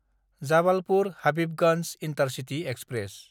जाबालपुर–हाबिबगन्ज intercity express